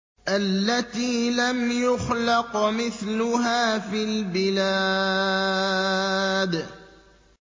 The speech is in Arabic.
الَّتِي لَمْ يُخْلَقْ مِثْلُهَا فِي الْبِلَادِ